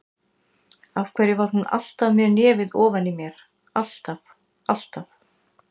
Af hverju var hún alltaf með nefið ofan í mér, alltaf, alltaf.